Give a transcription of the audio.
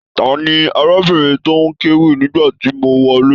Tani arábìnrin tó n k'ewí nígbàtí mo wọlé?